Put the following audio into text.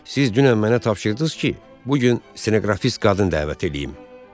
Siz dünən mənə tapşırdız ki, bu gün stenoqrafist qadın dəvət eləyim.